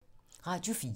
Radio 4